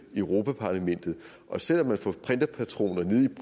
i europa parlamentet selv om man får printerpatroner nede